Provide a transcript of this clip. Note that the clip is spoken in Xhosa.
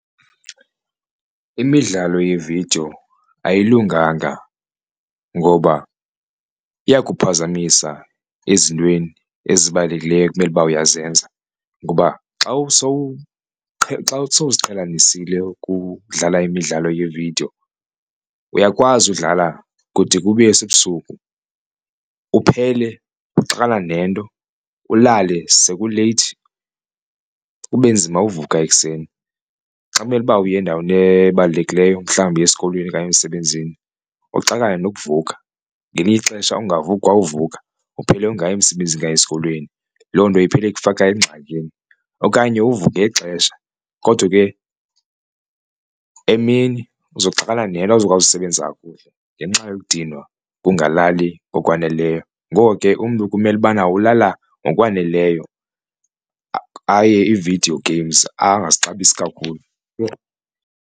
Imidlalo yeevidiyo ayilunganga ngoba iyakuphazamisa ezintweni ezibalulekileyo ekumele uba uyazenza ngoba xa xa sowuziqhelanisile ukudlala imidlalo yevidiyo uyakwazi udlala kude kube sebusuku uphele nento ulale sekuleythi kube nzima uvuka ekuseni. Xa kumele uba uye endaweni ebalulekileyo mhlawumbi uya esikolweni okanye emsebenzini uxakane nokuvuka ngelinye ixesha ungavuki kwa uvuka uphele ungayi emsebenzini okanye esikolweni, loo nto iphele ikufaka engxakini. Okanye uvuke ixesha kodwa ke emini uza kuxakana nento awuzukwazi usebenzisa kakuhle ngenxa yokudinwa ukungalali ngokwaneleyo. Ngoko ke umntu kumele ubana ulala ngokwaneleyo aye ii-video games angazixabisa kakhulu yho.